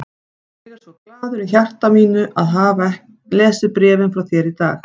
Ég er svo glaður í hjarta mínu að hafa lesið bréfin frá þér í dag.